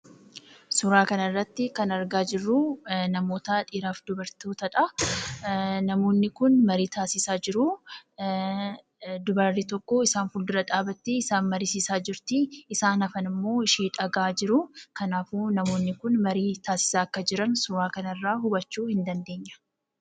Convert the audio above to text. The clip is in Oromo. Suuraa kanarratti kan argaa jirru namoota dhiiraa fi dubartootadha. Namoonni kun marii taasisaa jiru. Dubarri tokko isaan fuuldura dhaabbattee isaan mariisisaa jirti. Isaan hafanimmoo ishee dhaga'aa jiru. Kanaafuu namoonni kun marii taasisaa akka jiran suuraa kanarraa hubachuu ni dandeenya.